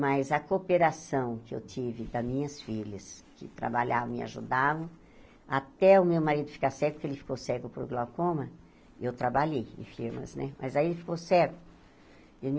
mas a cooperação que eu tive com as minhas filhas, que trabalhavam e ajudavam, até o meu marido ficar cego, porque ele ficou cego por glaucoma, eu trabalhei em firmas né, mas aí ele ficou cego.